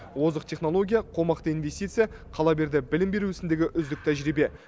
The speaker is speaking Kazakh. озық технология қомақты инвестиция қала берді білім беру ісіндегі үздік тәжірибе